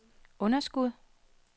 underskud